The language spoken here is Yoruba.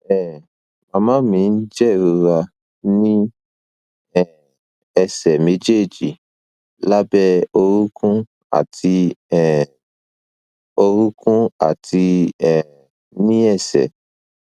um màmá mi ń jẹrora ní um ẹsẹ méjèèjì lábẹ orúnkún àti um orúnkún àti um ní ẹsẹ